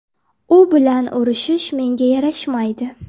U bilan urishish menga yarashmaydi.